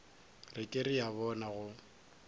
re ke a bona go